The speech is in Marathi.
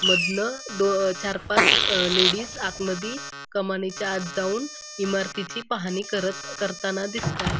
मधनं दो चारपाच अ लेडीस आतमधी कमानीच्या आत जाऊन इमारतीची पाहणी करत पाहणी करताना दिसतायत.